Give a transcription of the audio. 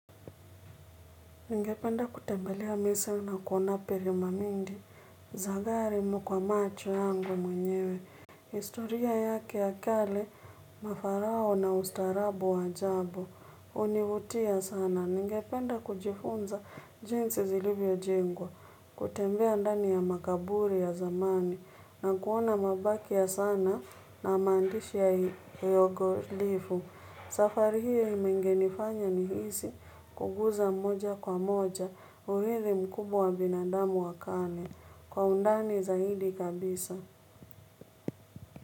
Ningependa kutembelea misri na kuona piramindi, zagari kwa macho yangu mwenyewe. Historia yake ya kale, mafarao na ustarabu wa ajabu, univutia sana. Ningependa kujifunza jinsi zilivyo jengwa, kutembea ndani ya makaburi ya zamani, na kuona mabaki ya saana na mandishi ya yogolifu. Safari hiyo imengenifanya ni hisi kuguza mmoja kwa moja uhithi mkubwa wa binadamu wa kale kwa undani zaidi kabisa.